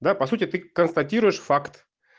да по сути ты констатируешь факт